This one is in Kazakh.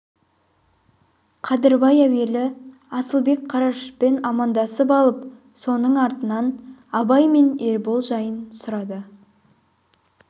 қадырбай әуелі асылбек қарашашпен амандасып алып соның артынан абай мен ербол жайын сұрады